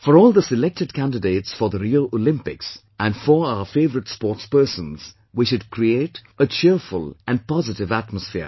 For all the selected candidates for the Rio Olympics, and for our favourite sportspersons, we should create a cheerful and positive atmosphere